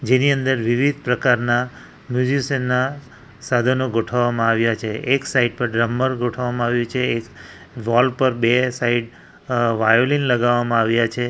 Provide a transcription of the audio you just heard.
તેની અંદર વિવિધ પ્રકારના મ્યુઝીશિયન ના સાધનો ગોઠવવામાં આવ્યા છે એક સાઇડ પર ડ્રમર ગોઠવવામાં આવ્યું છે એ વૉલ પર બે સાઈડ અ વાયોલીન લગાવવામાં આવ્યા છે.